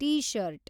T shirt